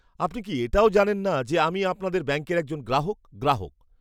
আপনি কি এটাও জানেন না যে আমি আপনাদের ব্যাঙ্কের একজন গ্রাহক? গ্রাহক